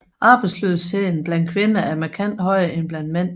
Arbejdsløsheden blandt kvinder er markant højere end blandt mænd